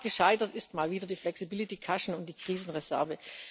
Am Rat gescheitert sind mal wieder das Flexibilitätspolster und die Krisenreserve.